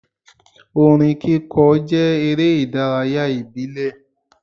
Orin kíkọ jẹ́ eré ìdárayá ìbílẹ̀.